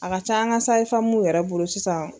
A ka ca an ka yɛrɛ bolo sisan.